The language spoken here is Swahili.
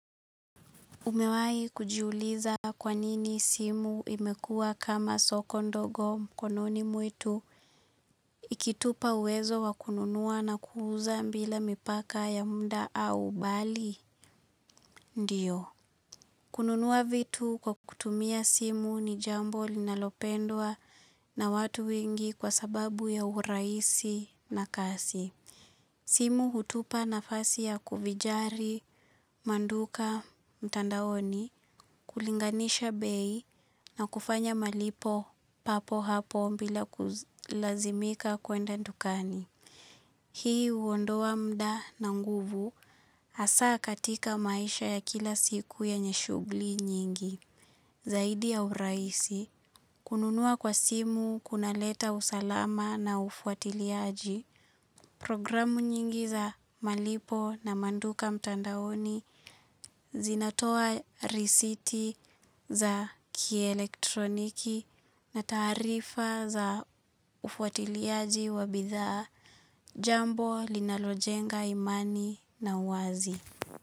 Umewai kujiuliza kwa nini simu imekua kama soko ndogo mkononi mwetu ikitupa uwezo wakununua na kuuza mbila mipaka ya muda au bali ndio. Kununua vitu kwa kutumia simu ni jambo linalopendwa na watu wengi kwa sababu ya urahisi na kasi. Simu hutupa nafasi ya kuvijari, manduka, mtandaoni, kulinganisha bei na kufanya malipo papo hapo mbila kulazimika kuenda ndukani. Hii uondoa muda na nguvu asaa katika maisha ya kila siku ya nyeshugli nyingi. Zaidi ya uraisi, kununua kwa simu, kunaleta usalama na ufuatiliaji, programu nyingi za malipo na manduka mtandaoni, zinatoa risiti za kielektroniki na tarifa za ufuatiliaji wabidhaa, jambo, linalojenga imani na uwazi.